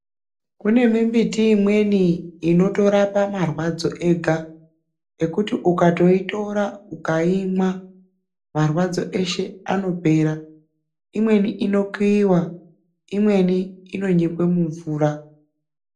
Kune mimbiti imweni inotorapa marwadzo ega kuti ukaitora ukaimwa marwadzo eshe anopera imweni inokuyiwa Imweni inonyikwa mumvura.